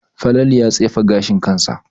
Falalu ya tsefe ganin kansa